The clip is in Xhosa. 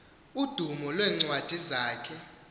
udumo lweencwadi zakhe